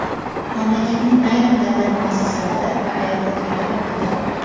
Mamlakatning ayrim davlat muassasalari va aeroportlari yopildi.